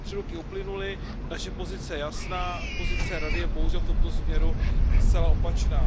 Tři roky uplynuly, naše pozice je jasná, pozice Rady je bohužel v tomto směru zcela opačná.